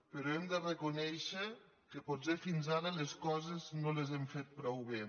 però hem de reconèixer que potser fins ara les coses no les hem fet prou bé